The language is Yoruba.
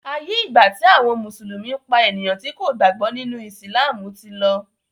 aiyé igba ti àwọn mùsùlùmí pá ènìyàn tí kò gbàgbó nínú! Ìsìlámù tí ló.